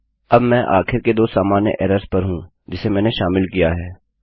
अब मैं आखिर के दो सामान्य एरर्स पर हूँ जिसे मैंने शामिल किया है